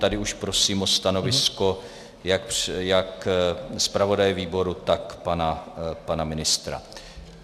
Tady už prosím o stanovisko jak zpravodaje výboru, tak pana ministra.